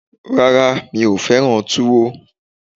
Rárá, mi ò fẹ́ràn Tuwo